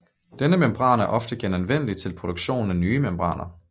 Denne membran er ofte genanvendelig til produktion af nye membraner